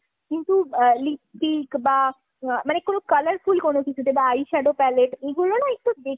কিন্তু আ lipstick বা মানে কোনো colourful কোনো কিছুতে বা eyeshadow pallete এগুলো না একটু দেখে